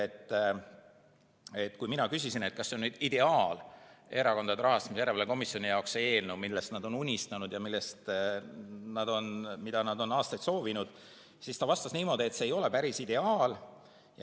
Nimelt, kui mina küsisin, kas see on nüüd ideaal ja Erakondade Rahastamise Järelevalve Komisjoni jaoks see eelnõu, millest nad on unistanud ja mida nad on aastaid soovinud, siis ta vastas niimoodi, et see ei ole päris ideaal.